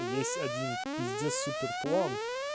есть один пиздец супер план